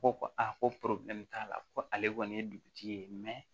Ko ko a ko t'a la ko ale kɔni ye dugutigi ye